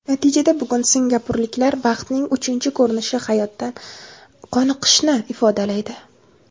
Natijada bugun singapurliklar baxtning uchinchi ko‘rinishi hayotdan qoniqishni ifodalaydi.